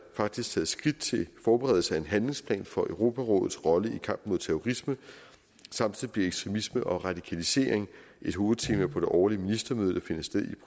faktisk taget skridt til forberedelse af en handlingsplan for europarådets rolle i kampen mod terrorisme samtidig bliver ekstremisme og radikalisering et hovedtema på det årlige ministermøde der finder sted i